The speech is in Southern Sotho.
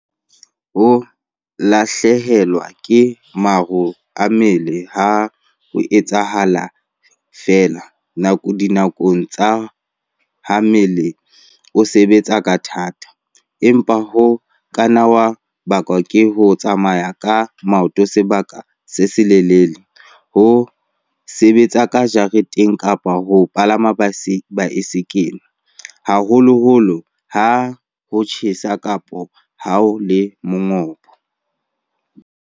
Ho lahlehelwa ke maro a mmele ha ho etsahale feela dinakong tsa ha mmele o sebetsa ka thata, empa ho ka nna ha bakwa ke ho tsamaya ka maoto sebaka se seleletsana, ho sebetsa ka jareteng kapa ho palama baesekele, haholoholo ha ho tjhesa kapa ho le mongobo.